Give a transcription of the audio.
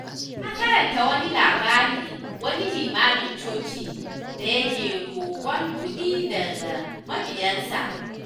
Na karanta wani labarin wani limamin coci dayake roƙon kuɗi daga mabiyansa.